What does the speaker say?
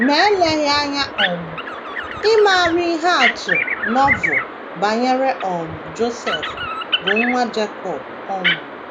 Ma eleghị anya, um ị maara ihe atụ Novel banyere um Josef, bụ́ nwa Jekọb um.